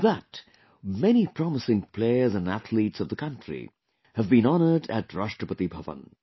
In that, many promising players and athletes of the country have been honoured at Rashtrapati Bhavan